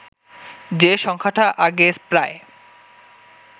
যে সংখ্যাটা আগে প্রায়